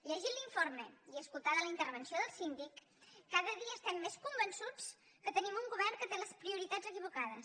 llegit l’informe i escoltada la intervenció del síndic cada dia estem més convençuts que tenim un govern que té les prioritats equivocades